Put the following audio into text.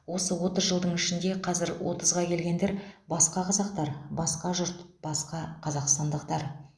осы отыз жылдың ішінде қазір отызға келгендер басқа қазақтар басқа жұрт басқа қазақстандықтар